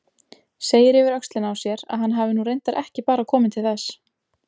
Segir yfir öxlina á sér að hann hafi nú reyndar ekki bara komið til þess.